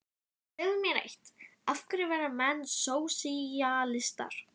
Segðu mér eitt: af hverju verða menn sósíalistar?